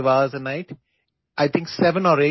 രാത്രിയിൽ നാലോ അഞ്ചോ മണിക്കൂർ മാത്രമായി ഉറങ്ങരുത്